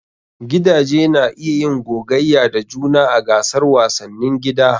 Gidaje na iya yin gogayya da juna a gasar wasannin gida.